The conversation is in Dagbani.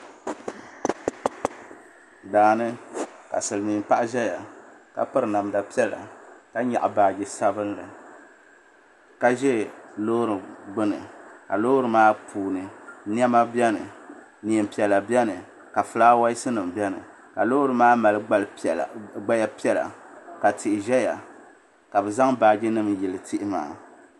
Daani ka Silimiin paɣa ʒɛya ka biri namda piɛla ka nyaɣi baaji sabinli ka ʒɛ loori gbini ka loori maa puuni niɛma biɛni niɛn piɛla biɛni ka filaawaasi nima biɛni ka loori maa mali gbali piɛla ka tihi biɛni ka bɛ zaŋ baaji nima yili tihi maa.